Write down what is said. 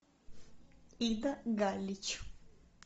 ида галич